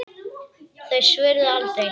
Þau svöruðu aldrei.